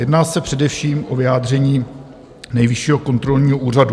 Jedná se především o vyjádření Nejvyššího kontrolního úřadu.